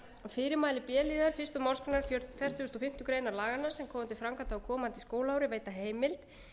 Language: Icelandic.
fyrirmæli b liðar fyrstu málsgrein fjörutíu og fimm greinar laganna sem koma til framkvæmda á komandi skólaári veita heimild